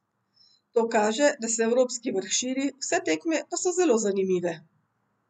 To kaže, da se evropski vrh širi, vse tekme pa so zelo zanimive.